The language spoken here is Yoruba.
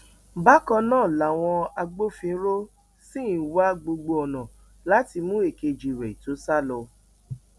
bákan náà làwọn agbófinró ṣì ń wá gbogbo ọnà láti mú èkejì rẹ tó sá lọ